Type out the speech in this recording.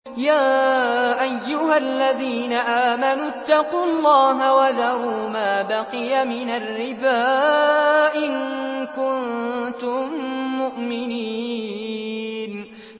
يَا أَيُّهَا الَّذِينَ آمَنُوا اتَّقُوا اللَّهَ وَذَرُوا مَا بَقِيَ مِنَ الرِّبَا إِن كُنتُم مُّؤْمِنِينَ